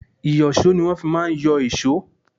Ìyọ̀ṣó ni wọ́n fi má ń yọ èṣó.